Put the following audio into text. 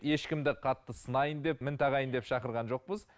ешкімді қатты сынайын деп мін тағайын деп шақырған жоқпыз